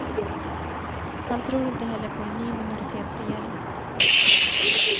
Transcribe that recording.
Han tror inte heller på en ny minoritetsregering.